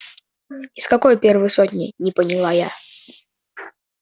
из какой первой сотни не поняла я